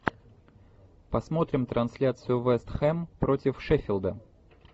посмотрим трансляцию вест хэм против шеффилда